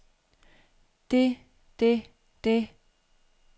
det det det